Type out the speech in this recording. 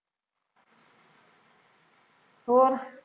ਹੋਰ